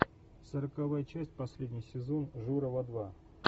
сороковая часть последний сезон журова два